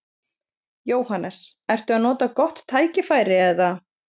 Jóhannes: Ertu að nota gott tækifæri eða?